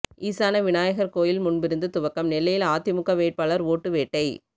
ஈசான விநாயகர் கோயில் முன்பிருந்து துவக்கம் நெல்லையில் அதிமுக வேட்பாளர் ஓட்டு வேட்டை